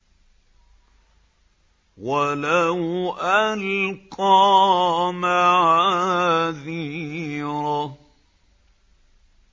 وَلَوْ أَلْقَىٰ مَعَاذِيرَهُ